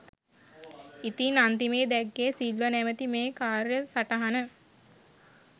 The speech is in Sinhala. ඉතින් අන්තිමේ දැක්කේ සිල්වර් නමැති මේ කාර්යසටහන